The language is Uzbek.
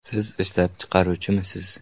Siz ishlab chiqaruvchimisiz?